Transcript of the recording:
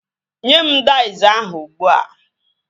Nye mụ daiz ahụ ugbua!